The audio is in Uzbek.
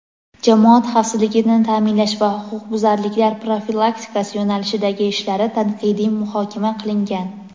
jamoat xavfsizligini ta’minlash va huquqbuzarliklar profilaktikasi yo‘nalishidagi ishlari tanqidiy muhokama qilingan.